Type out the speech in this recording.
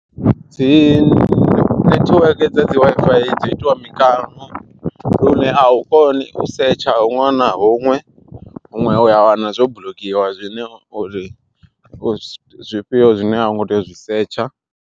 Dzi nethiweke dza dzi WiFi dzo itiwa mikano, lune a u koni u setsha huṅwe na huṅwe. Huṅwe uya wana zwo buḽokiwa zwine uri u zwifhio zwine a u ngo tea u zwi setsha.